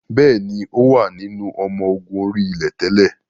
Bẹ́ẹ̀ni, ó wà nínú ọmọ ogun orí-ilẹ̀ tẹ́lẹ̀